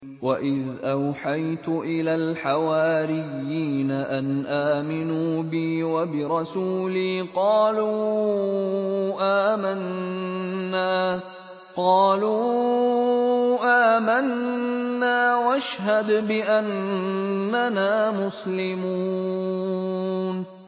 وَإِذْ أَوْحَيْتُ إِلَى الْحَوَارِيِّينَ أَنْ آمِنُوا بِي وَبِرَسُولِي قَالُوا آمَنَّا وَاشْهَدْ بِأَنَّنَا مُسْلِمُونَ